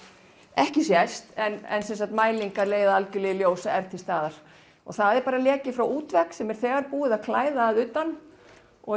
ekki sést en mælingar leiða í ljós að er til staðar það er leki frá útvegg sem er þegar búið að klæða að utan og